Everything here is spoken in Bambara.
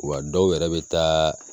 Wa dɔw yɛrɛ bɛ taa